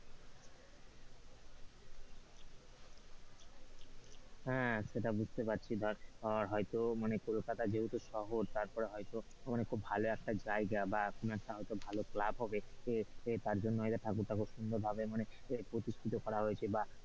হ্যাঁ সেটা বুঝতে পারছি ধর হয়তো মানে কলকাতা যেহেতু শহর তারপরে হয়তো খুব ভালো একটা জায়গা বা কোনো একটা ভালো ক্লাব হবে এ এ তারজন্য হয়তো ঠাকুর-টাকুর সুন্দর ভাবে মানে প্রতিষ্ঠিত হয়েছে,